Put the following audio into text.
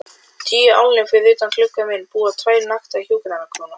Tíu álnir fyrir utan gluggann minn búa tvær naktar hjúkrunarkonur.